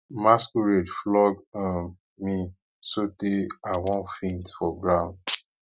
um masquerade flog um me so tey i wan faint for ground